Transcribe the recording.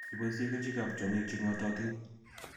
Iboisyee kerichekap tyong'ig che ng'atootin